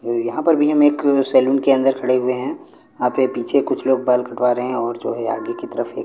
यहां पर भी हम एक सैलून के अंदर खड़े हुए हैं आपके पीछे कुछ लोग बाल कटवा रहे हैं और जो है आगे की तरफ एक--